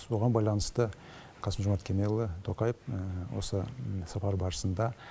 соған байланысты қасым жомарт кемелұлы тоқаев осы сапар барысында